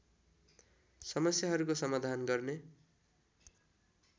समस्याहरूको समाधान गर्ने